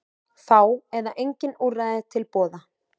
Fá eða engin úrræði til boða